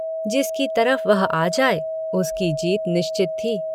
जिसकी तरफ वह आ जाए उसकी जीत निश्चित थी।